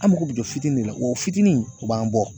An mago bi jɔ fitiinin de la wa o fitini o b'an bɔ.